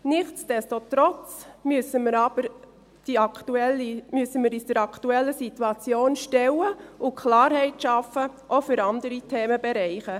Nichts desto trotz müssen wir uns aber der aktuellen Situation stellen und Klarheit schaffen, auch für andere Themenbereiche.